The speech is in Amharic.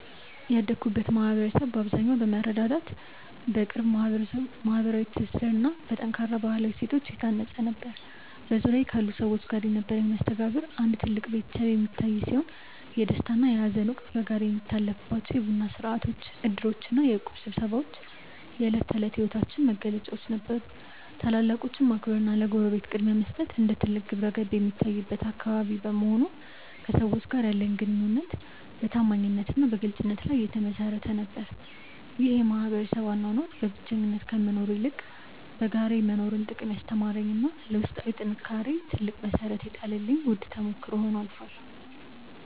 ያደግኩበት ማኅበረሰብ በአብዛኛው በመረዳዳት፣ በቅርብ ማኅበራዊ ትስስርና በጠንካራ ባሕላዊ እሴቶች የታነፀ ነበር። በዙሪያዬ ካሉ ሰዎች ጋር የነበረኝ መስተጋብር እንደ አንድ ትልቅ ቤተሰብ የሚታይ ሲሆን፣ የደስታና የሐዘን ወቅት በጋራ የሚታለፍባቸው የቡና ሥርዓቶች፣ ዕድሮችና የእቁብ ስብሰባዎች የዕለት ተዕለት ሕይወታችን መገለጫዎች ነበሩ። ታላላቆችን ማክበርና ለጎረቤት ቅድሚያ መስጠት እንደ ትልቅ ግብረገብ የሚታይበት አካባቢ በመሆኑ፣ ከሰዎች ጋር ያለኝ ግንኙነት በታማኝነትና በግልጽነት ላይ የተመሠረተ ነበር። ይህ የማኅበረሰብ አኗኗር በብቸኝነት ከመኖር ይልቅ በጋራ የመኖርን ጥቅም ያስተማረኝና ለውስጣዊ ጥንካሬዬ ትልቅ መሠረት የጣለልኝ ውድ ተሞክሮ ሆኖ አልፏል።